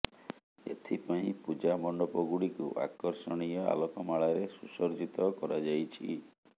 ଏଥିପାଇଁ ପୂଜା ମଣ୍ଡପ ଗୁଡିକୁ ଆକର୍ଶଣୀୟ ଆଲୋକମାଳାରେ ସୁସଜ୍ଜିତ କରାଯାଇଛି